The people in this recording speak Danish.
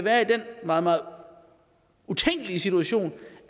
er i den meget meget utænkelige situation